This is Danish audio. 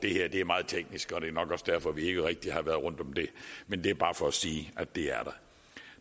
er meget teknisk og det er nok også derfor at vi ikke rigtig har været rundt om det men det er bare for at sige at det er